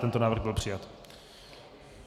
Tento návrh byl přijat.